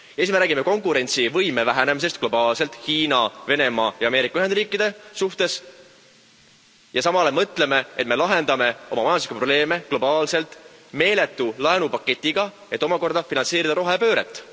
Me räägime konkurentsivõime vähenemisest globaalselt Hiina, Venemaa ja Ameerika Ühendriikide suhtes ja samal ajal mõtleme, et me lahendame oma majanduslikke probleeme globaalselt meeletu laenupaketiga, et omakorda finantseerida rohepööret.